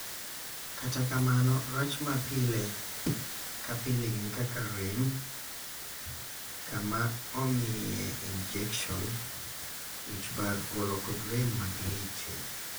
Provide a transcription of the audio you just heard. Kata kamano, rach ma pile ka pile gin kaka rem kama omiye injekson, wich bar, olo kod rem mag leche.